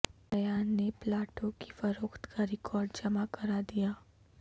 ایان نے پلا ٹوں کی فروخت کا ریکارڈ جمع کرا د یا